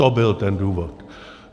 To byl ten důvod.